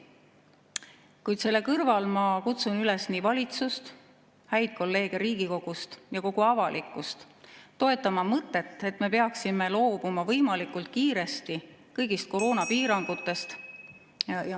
Kuid selle kõrval ma kutsun üles nii valitsust, häid kolleege Riigikogust kui ka kogu avalikkust toetama mõtet, et me peaksime võimalikult kiiresti loobuma kõigist koroonapiirangutest.